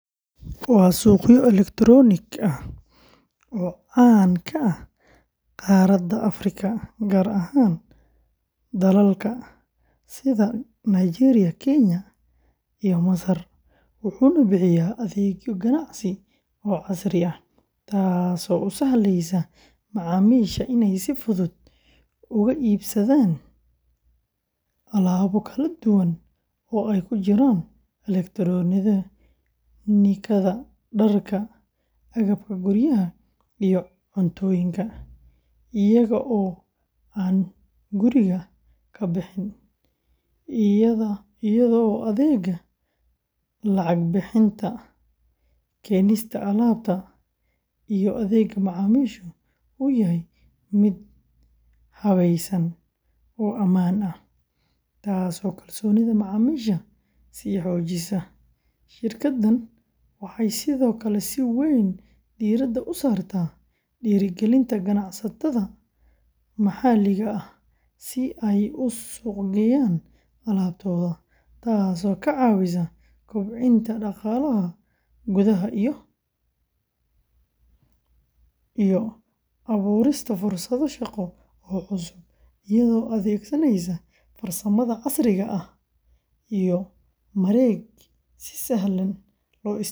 Waa suuqyo elektaroonik ah oo caan ka ah qaaradda Afrika, gaar ahaan dalalka sida Nigeria, Kenya, iyo Masar, wuxuuna bixiyaa adeegyo ganacsi oo casri ah, taasoo u sahlaysa macaamiisha inay si fudud uga iibsadaan alaabo kala duwan oo ay ku jiraan elektaroonikada, dharka, agabka guryaha, iyo cuntooyinka, iyaga oo aan guriga ka bixin, iyadoo adeegga lacag bixinta, keenista alaabta, iyo adeegga macaamiisha uu yahay mid habaysan oo ammaan ah, taasoo kalsoonida macaamiisha sii xoojisay; shirkaddan waxay sidoo kale si weyn diiradda u saartaa dhiirrigelinta ganacsatada maxalliga ah si ay u suuqgeeyaan alaabtooda, taasoo ka caawisa kobcinta dhaqaalaha gudaha iyo abuurista fursado shaqo oo cusub, iyadoo adeegsanaysa farsamada casriga ah iyo mareeg si sahlan loo isticmaali karo.